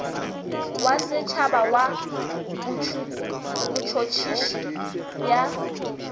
wa setšhaba wa botšhotšhisi bja